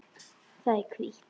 Það er hvítt.